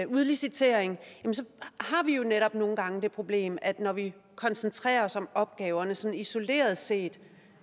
udlicitering har vi jo netop nogle gange det problem at når vi koncentrerer os om opgaverne sådan isoleret set